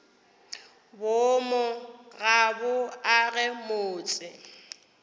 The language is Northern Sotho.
boomo ga bo age motse